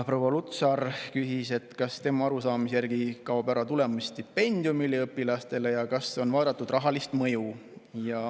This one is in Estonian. Proua Lutsar ütles, et tema arusaamise järgi kaob ära tulemusstipendium üliõpilastele, ja küsis, kas on vaadatud selle rahalist mõju.